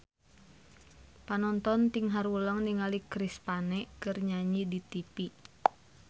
Panonton ting haruleng ningali Chris Pane keur nyanyi di tipi